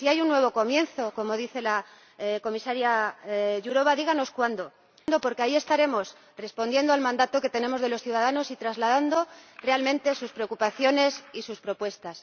Si hay un nuevo comienzo, como dice usted, Comisaria Jourová, díganos cuándo, porque ahí estaremos respondiendo al mandato que tenemos de los ciudadanos y trasladando realmente sus preocupaciones y sus propuestas.